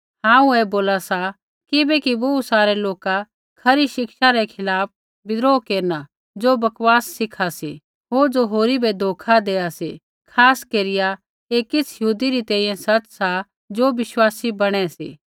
हांऊँ ऐ बोला सा किबैकि बोहू सारै लोका खरी शिक्षा रै खिलाफ़ विद्रोह केरना ज़ो बकवास सिखा सी होर ज़ो होरी बै धोखा देआ सी खास केरिया ऐ किछ़ यहूदी री तैंईंयैं सच़ सा ज़ो विश्वासी बणै सी